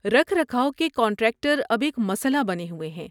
رکھ رکھاو کے کنٹراکٹر اب ایک مسئلہ بنے ہوئے ہیں۔